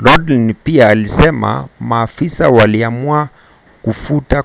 lodin pia alisema maafisa waliamua kufuta